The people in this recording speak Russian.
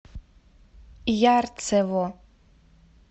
ярцево